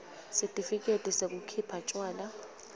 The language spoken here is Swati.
sitifiketi sekukhipha tjwala